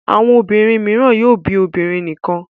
Àwọn obìnrin mìíràn yóò bí obìnrin nìkan.